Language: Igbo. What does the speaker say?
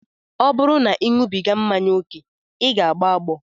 Ọ bụrụ na ị na-aṅụbiga mmanya ókè, ị ga-agbọ agbọ